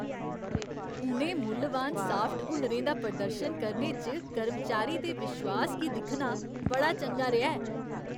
उ'नें मुल्लवान सॉफ्ट हुनरें दा प्रदर्शन करने च कर्मचारी दे विश्वास गी दिक्खना बड़ा चंगा रेहा ऐ।